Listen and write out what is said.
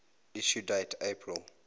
issue date april